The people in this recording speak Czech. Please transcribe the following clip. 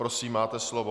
Prosím, máte slovo.